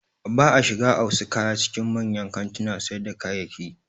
Ba a shiga a wasu kaya cikin manyan kantunan sayar da kayayyaki.